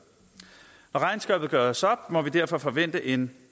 når regnskabet skal gøres op må vi derfor forvente en